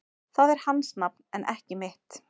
Það er hans nafn en ekki mitt